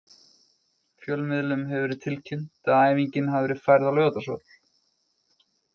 Fjölmiðlum hefur verið tilkynnt að æfingin hafi verið færð á Laugardalsvöll.